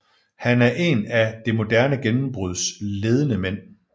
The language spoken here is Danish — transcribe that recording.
Han er en af Det Moderne Gennembruds ledende mænd